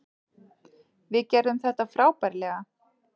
Við gerðum þetta frábærlega.